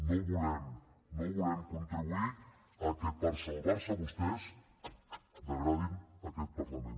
no volem contribuir que per salvar se vostès degradin aquest parlament